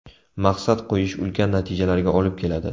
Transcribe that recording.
Maqsad qo‘yish ulkan natijalarga olib keladi.